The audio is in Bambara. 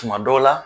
Tuma dɔw la